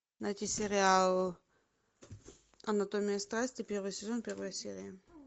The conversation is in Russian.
найти сериал анатомия страсти первый сезон первая серия